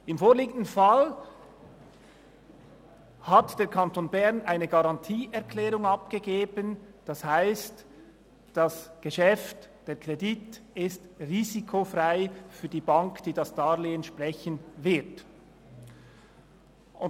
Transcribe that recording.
Im vorliegenden Fall hat der Kanton Bern eine Garantieerklärung abgegeben, das heisst, das Geschäft, der Kredit ist für die Bank, die das Darlehen sprechen wird, risikofrei.